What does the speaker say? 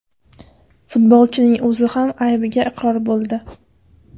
Futbolchining o‘zi ham aybiga iqror bo‘ldi.